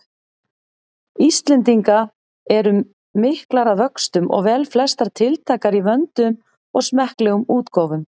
Íslendinga eru miklar að vöxtum og velflestar tiltækar í vönduðum og smekklegum útgáfum.